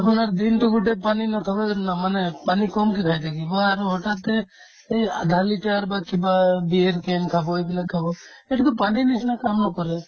আকৌ ইয়াৰ দিনতো গোটে পানী নাখাবা যেন নামানে পানী কমকে খাই থাকিব আৰু হঠাতে এই আধা লিটাৰ বা কিবা beer can খাব এইবিলাক খাব সেইটোতো পানীৰ নিচিনা কাম নকৰে